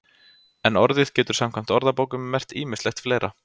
En orðið getur samkvæmt orðabókum merkt ýmislegt fleira.